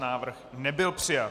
Návrh nebyl přijat.